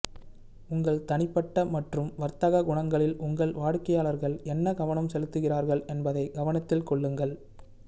உங்கள் தனிப்பட்ட மற்றும் வர்த்தக குணங்களில் உங்கள் வாடிக்கையாளர்கள் என்ன கவனம் செலுத்துகிறார்கள் என்பதை கவனத்தில் கொள்ளுங்கள்